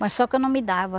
Mas só que eu não me dava.